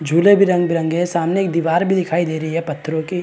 झूले भी रंग-बरंगे है सामने एक दिवार भी दिखाई दे रही है पत्थरों की--